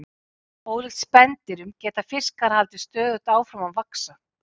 Ólíkt spendýrum geta fiskar haldið stöðugt áfram að vaxa.